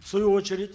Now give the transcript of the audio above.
в свою очередь